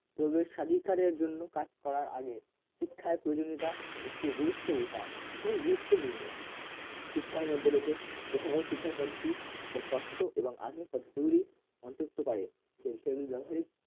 প্রবেশাধিকারের জন্য কাজ করার আগে শিক্ষায় প্রয়োজনীয়তা একটি গুরুত্ব বোঝা খুবই গুরুত্বপূর্ণ শিক্ষার মধ্যে রয়েছে প্রথাগত শিক্ষার পদ্ধতি যা তত্ত্ব এবং আধুনিক পদ্ধতিগুলি অন্তর্ভুক্ত করে সেগুলির ব্যবহারিক